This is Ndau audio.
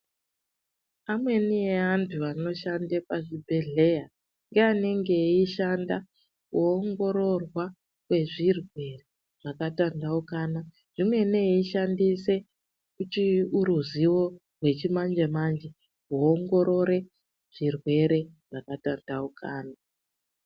Amweni eya antu anoshande pazvibhedhleya ngeanenge eishanda kuoongororwa kwezvirwere zvakatantaukana zvimweni eishandise chiuruziwo rwechimanje manje kuongorore zvirwere zvakatantaukana.